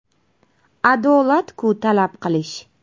Adolat-ku talab qilish.